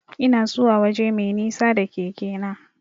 Ina zuwa waje mai nisa da keke na.